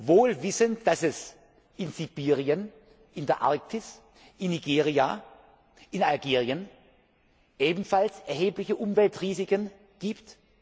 Wohl wissend, dass es in Sibirien, in der Arktis, in Nigeria, in Algerien ebenfalls erhebliche Umweltrisiken